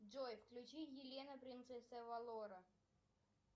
джой включи елена принцесса авалора